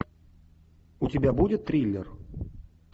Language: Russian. у тебя будет триллер